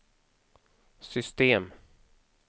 system